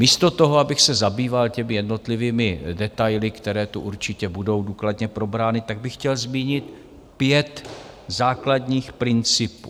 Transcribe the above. Místo toho, abych se zabýval těmi jednotlivými detaily, které tu určitě budou důkladně probrány, tak bych chtěl zmínit pět základních principů.